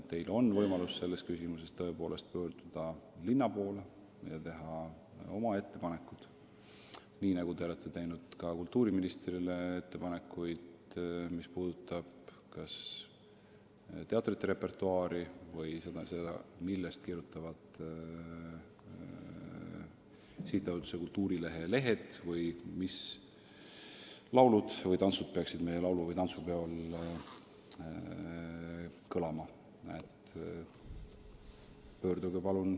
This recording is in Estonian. Teil on võimalus selles küsimuses pöörduda linna poole ja teha oma ettepanekud, nii nagu te olete teinud ka kultuuriministrile ettepanekuid teatrite repertuaari kohta või selle kohta, millest võiks kirjutada Sihtasutuse Kultuurileht väljaandes või mis laulud-tantsud peaksid meie laulu- ja tantsupidudel kõlama.